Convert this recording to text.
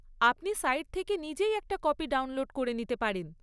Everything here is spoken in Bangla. আপনি সাইট থেকে নিজেই একটা কপি ডাউনলোড করে নিতে পারেন।